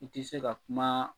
I ti se ka kuma